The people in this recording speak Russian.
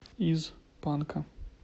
из панка